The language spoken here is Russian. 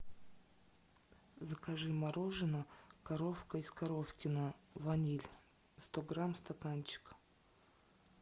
закажи мороженое коровка из коровкино ваниль сто грамм стаканчик